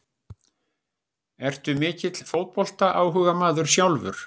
Ertu mikill fótboltaáhugamaður sjálfur?